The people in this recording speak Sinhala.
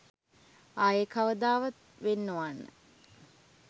ආයේ කවදාවත් වෙන් නොවන්න.